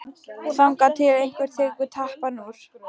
Þangað til einhver tekur tappann úr.